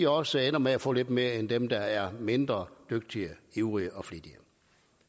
også ender med at få lidt mere end dem der er mindre dygtige ivrige og flittige